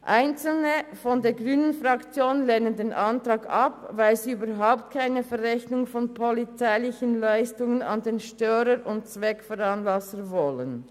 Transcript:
Einzelne Mitglieder der grünen Fraktion lehnen den Antrag ab, weil sie überhaupt keine Verrechnung von polizeilichen Leistungen an den Störer und Zweckveranlasser wollen.